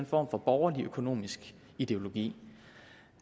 form for borgerlig økonomisk ideologi